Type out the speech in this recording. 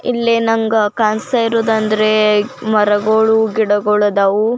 ಇಲ್ಲಿ ನಂಗ ಕಾಣಿಸ್ತಾ ಅಂದ್ರೆ ಮರಗಳು ಗಿಡಗಳು ಆದವು --